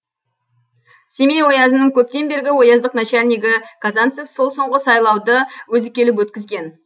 семей оязының көптен бергі ояздық начальнигі казанцев сол соңғы сайлауды өзі келіп өткізген